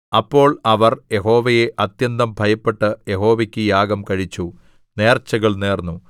അപ്പോൾ അവർ യഹോവയെ അത്യന്തം ഭയപ്പെട്ട് യഹോവക്കു യാഗം കഴിച്ചു നേർച്ചകൾ നേർന്നു